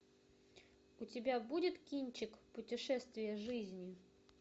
у тебя будет кинчик путешествие жизни